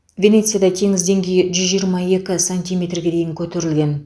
венецияда теңіз деңгейі жүз жиырма екі сантиметрге дейін көтерілген